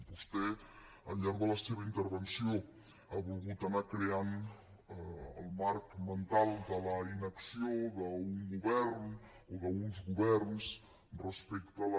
vostè al llarg de la seva intervenció ha volgut anar creant el marc mental de la inacció d’un govern o d’uns governs respecte de les